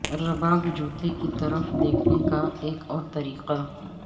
رباک جوتے کی طرف دیکھنے کا ایک اور طریقہ